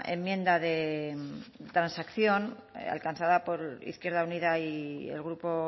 enmienda de transacción alcanzada por izquierda unida y el grupo